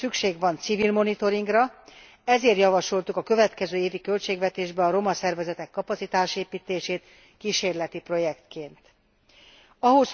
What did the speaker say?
Szükség van civil monitoringra, ezért javasoltuk a következő évi költségvetésbe kísérleti projektként a romaszervezetek kapacitásépítését.